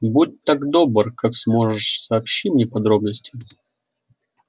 будь так добр как сможешь сообщи мне подробности